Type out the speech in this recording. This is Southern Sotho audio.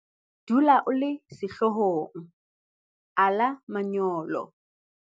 Dula o le sehlohlolong - ala manyolo